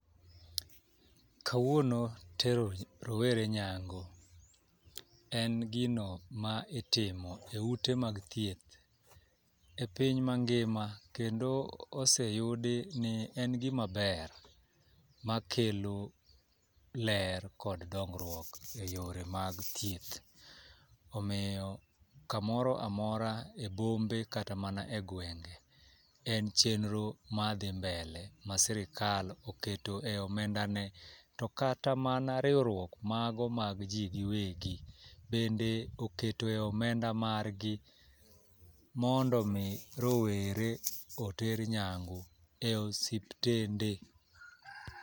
Kawuono tero rowere nyangu en gino ma itimo e ute mag thieth e piny mangima kendo oseyudi ni en gimaber ma kelo ler kod duongruok e yore mag thieth. Omiyo kamoro amora e bombe kata mana e gwenge en chenro madhi mbele ma sirikal oketo e omenda ne. To kata mana riwruog mago mag jii giwegi bende okete omenda mar gi mondo mi rowere oter nyangu e osiptende.